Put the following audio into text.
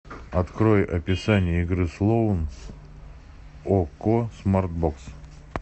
открой описание игры слоун окко смарт бокс